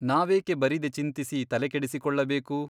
ನಾವೇಕೆ ಬರಿದೆ ಚಿಂತಿಸಿ ತಲೆ ಕೆಡಿಸಿಕೊಳ್ಳಬೇಕು ?